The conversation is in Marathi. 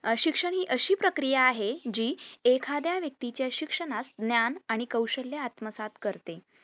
शिक्षण हि अशी प्रक्रिया आहे जी एखाद्या व्यक्ती च्या शिक्षणास ज्ञान आणि कौशल्य आत्मसात करते